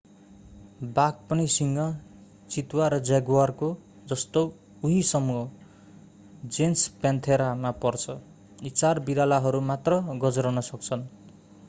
बाघ पनि सिंह चितुवा र जगुअरको जस्तो उही समूह जेनस प्यान्थेरा मा पर्छ। यी चार बिरालाहरू मात्र गर्जन सक्छन्।